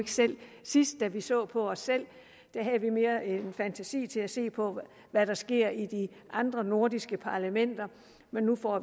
selv sidst da vi så på os selv havde vi mere fantasi til at se på hvad der sker i de andre nordiske parlamenter men nu får